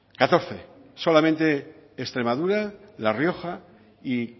catorce solamente extremadura la rioja y